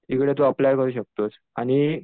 तिकडे तू अप्लाय करू शकतोस आणि